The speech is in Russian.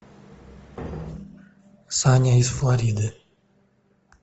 саня из флориды